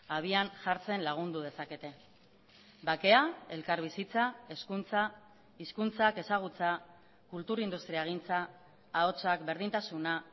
abian jartzen lagundu dezakete bakea elkarbizitza hezkuntza hizkuntzak ezagutza kultur industriagintza ahotsak berdintasuna